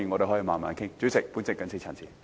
代理主席，我謹此陳辭。